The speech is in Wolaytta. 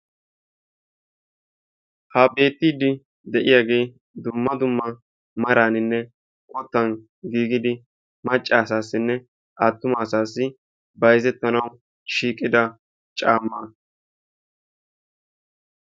ha beetiidi de'iyaagee dumma dumma meraanine qottan giigidi macca asaasinne attuma asaassi bayzzetanawu shiiqida caamaa